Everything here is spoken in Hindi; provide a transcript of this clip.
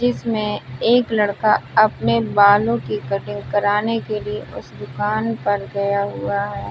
जिसमें एक लड़का अपने बालों की कटिंग कराने के लिए उस दुकान पर गया हुआ है।